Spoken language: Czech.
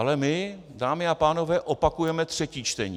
Ale my, dámy a pánové, opakujeme třetí čtení.